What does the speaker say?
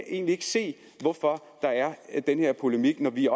egentlig ikke se hvorfor der er den her polemik når vi